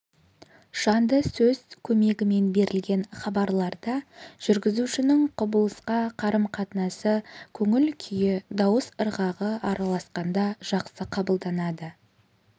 жанды сөз көмегімен берілген хабарларда жүргізушінің құбылысқа қарым-қатынасы көңіл-күйі дауыс ырғағы араласқанда жақсы қабылданады